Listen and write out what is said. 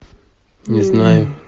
не знаю